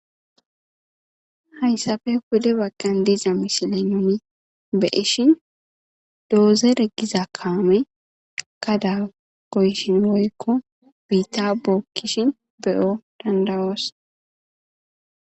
Hayssafe Pude bagqan diiza mishile nuni beishin doozere giza kaame kada goyshinyoykko biitta bookkishin beyo dandawoos.